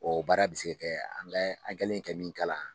Ɔ o baara bɛ se kɛ an kɛlen ye ka min kalan